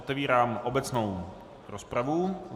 Otevírám obecnou rozpravu.